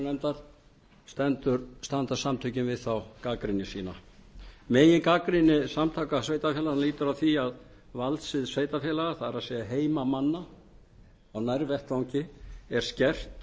frumvarpinu í meðförum allsherjarnefndar standa samtökin við þá gagnrýni sína megingagnrýni samtaka sveitarfélaganna lýtur að því að valdsvið sveitarfélaga það er heimamanna á nærvettvangi er skert